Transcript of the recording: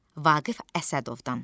Vaqif Əsədovdan.